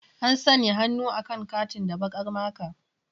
An sanya hannu akan katin da baƙar maka.